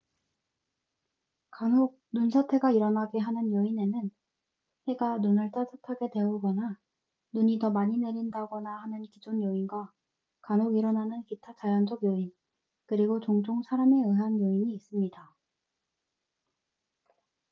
간혹 눈사태가 일어나게 하는 요인에는 해가 눈을 따뜻하게 데우거나 눈이 더 많이 내린다거나 하는 기존 요인과 간혹 일어나는 기타 자연적 요인 그리고 종종 사람에 의한 요인이 있습니다